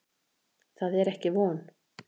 Það er ekki von.